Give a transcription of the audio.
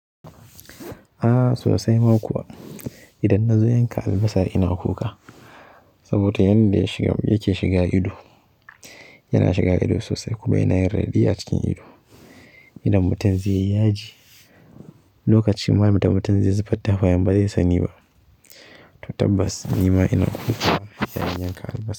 A sosai ma kuwa idan na zo yanka albasa ina kuka saboda yanda yake shiga ido, yana shiga ido sosai kuma yana yin raɗaɗi a cikin ido. Idon mutum zai yi yaji, lokacin ma da mutum zai zubar da hawayen ma bazai sani ba. Tabbatas nima ina kuka yayin yanka albasa.